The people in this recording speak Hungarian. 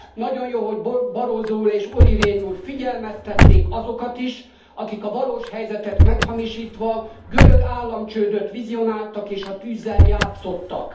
Nagyon jó, hogy Barroso úr és Olli Rehn úr figyelmeztették azokat is, akik a valós helyzetet meghamisítva görög államcsődöt vizionáltak és a tűzzel játszottak.